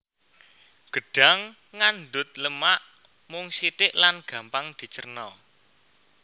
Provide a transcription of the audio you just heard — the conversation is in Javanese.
Gedhang ngandhut lemak mung sithik lan gampang dicérna